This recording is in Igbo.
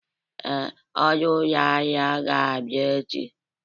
Ee, ọrụ ụlọ ahịa ga-abịa echi.